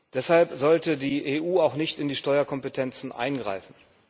Deshalb sollte die EU auch nicht in die Steuerkompetenzen eingreifen.